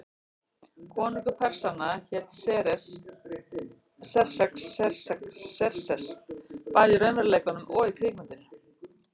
Konungur Persanna hét Xerxes, bæði í raunveruleikanum og í kvikmyndinni.